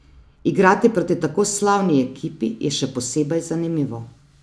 Igrati proti tako slavni ekipi je še posebej zanimivo.